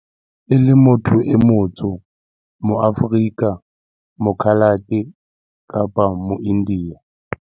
E le motho e motsho moAforika, moKhalate kapa moIndiya.